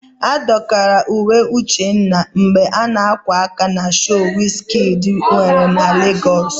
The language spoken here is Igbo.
A dọkara uwe Uchenna ebe a na-ákwà aka na shoo Wiz Kidi nwere na Legọs.